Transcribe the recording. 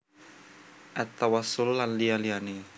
At Tawassul lan liya liyane